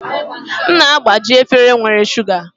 M na-agbaji efere nwere shuga